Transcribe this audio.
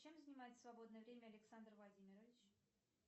чем занимается в свободное время александр владимирович